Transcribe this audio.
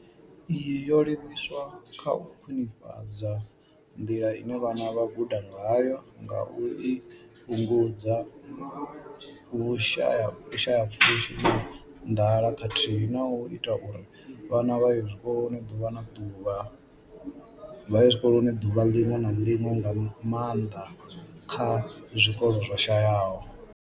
Iyi yo livhiswa kha u khwinifhadza nḓila ine vhana vha guda ngayo ngauri i fhungudza vhushayapfushi na nḓala khathihi na u ita uri vhana vha ye tshikoloni ḓuvha ḽiṅwe na ḽiṅwe, nga maanḓa kha zwikolo zwo shayaho.